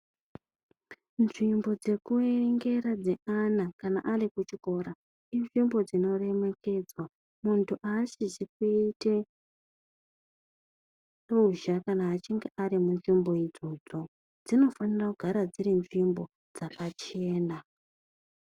Nzvimbo dzekuerengera dzeana kana ari kuchikora inzvimbo dzinoremekedzwa. Muntu aasizi kuite ruzha kana achinge ari munzvimbo idzodzo, dzinofanira kugara dziri nzvimbo dzakachena.